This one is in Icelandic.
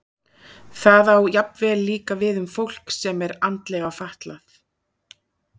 Það á jafnvel líka við um fólk sem er andlega fatlað.